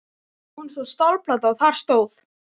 Á honum var stálplata og þar stóð: